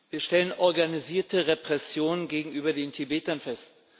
Wir stellen organisierte Repressionen gegenüber den Tibetern fest.